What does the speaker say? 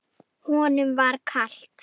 Honum var kalt.